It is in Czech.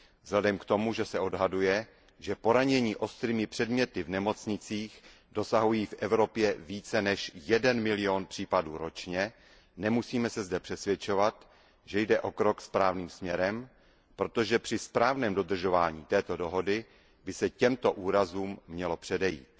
Vzhledem k tomu, že se odhaduje, že poranění ostrými předměty v nemocnicích dosahují v Evropě více než 1 milion případů ročně, nemusíme se zde přesvědčovat, že jde o krok správným směrem, protože při správném dodržování této dohody by se těmto úrazům mělo předejít.